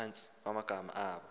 phantsi amagama abo